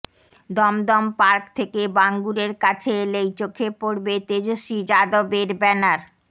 Dumdum park থেকে বাঙ্গুরের কাছে এলেই চোখে পড়বে তেজস্বি যাদবর ব্যানার